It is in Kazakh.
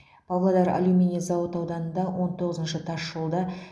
павлодар алюминий зауыты ауданында он тоғызыншы тасжолда